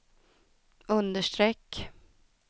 understreck